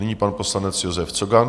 Nyní pan poslanec Josef Cogan.